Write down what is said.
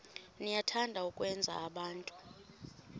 niyathanda ukwenza abantu